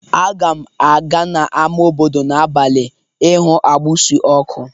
Aga m aga n'ámá obodo n'abalị ịhụ agbusi ọkụ